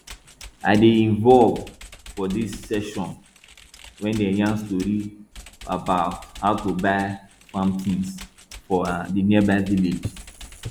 i dey involve for di session wey dem yarn story bout how to buy farm tins for um di nearby village